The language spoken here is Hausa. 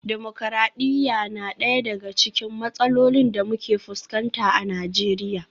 Dimokradiyya na daya daga cikin matsalolin da muke fuskanta a Najeriya